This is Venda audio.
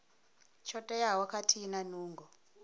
tsho teaho khathihi na nungo